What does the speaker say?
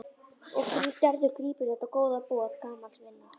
Og Gerður grípur þetta góða boð gamals vinar.